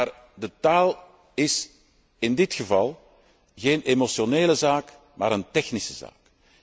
Maar de taal is in dit geval geen emotionele zaak, maar een technische zaak.